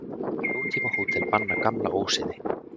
Nútímahótel banna gamla ósiði.